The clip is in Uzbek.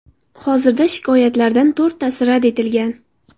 Hozirda shikoyatlardan to‘rttasi rad etilgan.